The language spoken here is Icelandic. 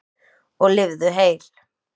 Og lifðu heil!